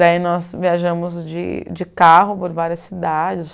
Daí nós viajamos de de carro por várias cidades.